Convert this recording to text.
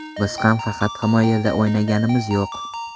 Biz ham faqat himoyada o‘ynaganimiz yo‘q.